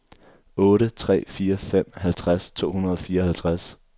otte tre fire fem halvtreds to hundrede og fireoghalvtreds